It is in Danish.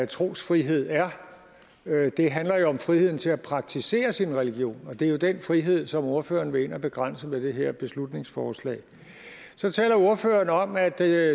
trosfrihed er det handler jo om friheden til at praktisere sin religion og det er jo den frihed som ordføreren vil ind og begrænse med det her beslutningsforslag så taler ordføreren om at det